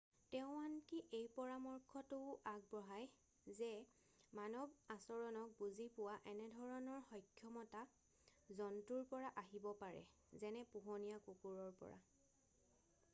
তেওঁ আনকি এই পৰামৰ্শটোও আগবঢ়ায় যে মানৱ আচৰণক বুজি পোৱা এনেধৰণৰ সক্ষমতা জন্তুৰ পৰা আহিব পাৰে যেনে পোহনীয়া কুকুৰৰ পৰা